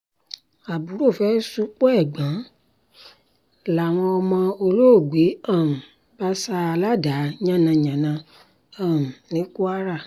àbúrò fẹ́ẹ́ ṣupọ̀ ẹ̀gbọ́n ẹ̀ làwọn ọmọ olóògbé um bá sá a ládàá yànnàǹnà um ní kwara